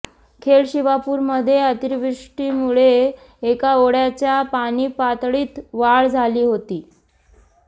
खेड शिवापूरमध्ये अतिवृष्टीमुळे एका ओढ्याच्या पाणीपातळीत वाढ झाली होती